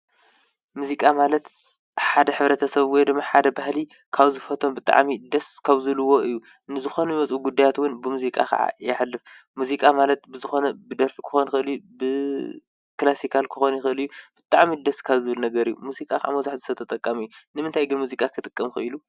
ሙዚቃ ማለት ሓደ ኅብረ ተ ሠብይ ድም ሓደ ባህሊ ካውዝ ፈቶም ብጥዓሚ ደስ ካውዝልዎ እዩ ንዝኾነ በጹ ጕዳያትውን ብሙዚቃ ኸዓ የሐልፍ ሙዚቃ ማለት ብዝኾነ ብደርፊ ክኾንክልዩ ብክላሢካል ክኾን ኽልእዩ ብጥዕሚት ደስ ካብዝብል ነገር እዩ ሙዚቃ ምዙሕ ዝሰ ተጠቃም እዩ ንምንታይ ግን ሙዚቃ ኽጥቀም ኽብ ኢሉ?